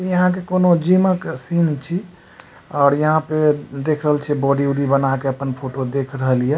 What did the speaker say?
यहाँ के कोनो जिमा के सीन छी और यहाँ पर देख रहल छी बॉडी ऑडी बना के आपन फोटो देख रहल हिय।